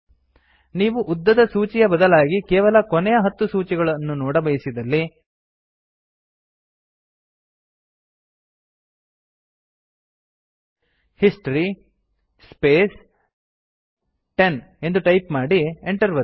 ನೀವು ಉದ್ದದ ಸೂಚಿಯ ಬದಲಾಗಿ ಕೇವಲ ಕೊನೆಯ ಹತ್ತು ಕಮಾಂಡ್ ಗಳನ್ನು ನೋಡಬಯಸಿದಲ್ಲಿ ಹಿಸ್ಟರಿ ಸ್ಪೇಸ್ 10 ಎಂದು ಟೈಪ್ ಮಾಡಿ Enter ಒತ್ತಿ